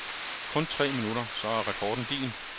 Kun tre minutter, så er rekorden din.